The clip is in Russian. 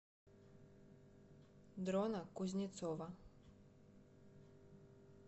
дрона кузнецова